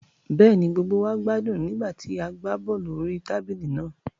Bẹ́ẹ̀ni, gbogbo wa gbádùn nígbà tí a gbá bọ́ọ̀lù orí tábìlì lánàá